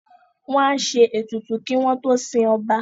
Wọ́n á ṣe ètùtù kí wọ́n tó sin ọba